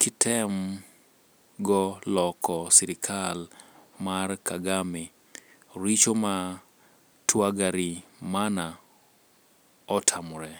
kitem go loko sirikal mar Kagame. richo ma Twagarimana otamore.